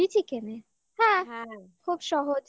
chili chicken হ্যাঁ হ্যা খুব সহজ